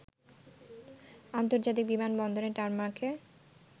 আন্তর্জাতিক বিমান বন্দরের টারমাকে